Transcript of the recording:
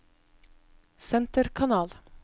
senterkanal